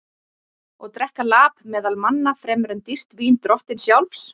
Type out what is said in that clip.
Og drekka lap meðal manna fremur en dýrt vín drottins sjálfs?